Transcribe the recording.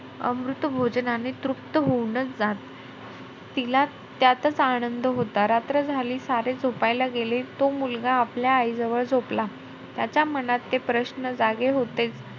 अमृतभोजनाने तृप्त होऊनचं जात. तिला त्यातचं आनंद होता. रात्र झाली सारे झोपायला गेले तो मुलगा आपल्या आईजवळ झोपला. त्याच्या मनात ते प्रश्न जागे होतेचं.